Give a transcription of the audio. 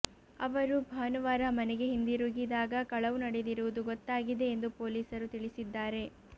ಅವರು ಭಾನುವಾರ ಮನೆಗೆ ಹಿಂದಿರುಗಿದಾಗ ಕಳವು ನಡೆದಿರುವುದು ಗೊತ್ತಾಗಿದೆ ಎಂದು ಪೊಲೀಸರು ತಿಳಿಸಿದ್ದಾರೆ